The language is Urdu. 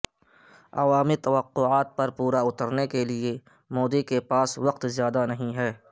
عوامی توقعات پر پورا اترنے کے لیے مودی کے پاس وقت زیادہ نہیں ہے